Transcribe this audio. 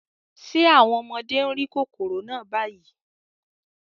Ṣé àwọn ọmọdé ń rí kòkòrò náà báyìí?